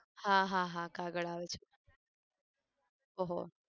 હા હા હા કાગળ આવે છે, ઓહો